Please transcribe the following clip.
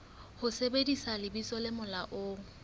ho sebedisa lebitso le molaong